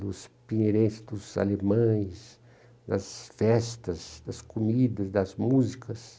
dos pinheirenses, dos alemães, das festas, das comidas, das músicas.